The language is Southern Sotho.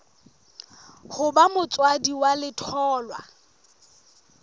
ho ba motswadi wa letholwa